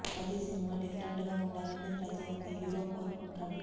ప్రతి cinema different గా ఉండాలని ప్రతి ఒక్క హీరో కోరుకుంటాడు